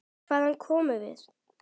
Hvaðan komum við?